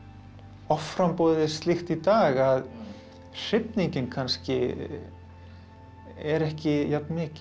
offramboðið er slíkt í dag að hrifningin kannski er ekki jafnmikil